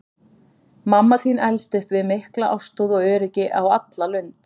Mamma þín elst upp við mikla ástúð og öryggi á alla lund.